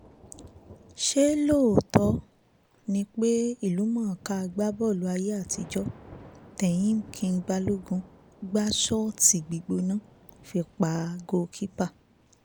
ṣé lóòtọ́ ni pé ìlúmọ̀ọ́ká agbábọ́ọ̀lù ayé àtijọ́ tehim king balogun gbà sóótì gbígbóná fi pa goal keeper